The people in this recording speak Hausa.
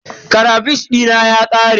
Karafish dina ya ƙare.